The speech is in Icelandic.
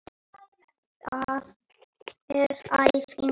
Það er æfing á morgun.